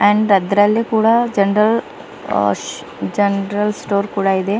ಅಂಡ ಅದರಲ್ಲೇ ಕೂಡ ಜನರಲ್ ಆಶ್ ಜನರಲ್ ಸ್ಟೋರ್ ಕೂಡ ಇದೆ.